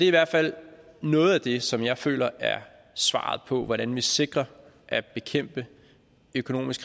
i hvert fald noget af det som jeg føler er svaret på hvordan vi sikrer at bekæmpe økonomisk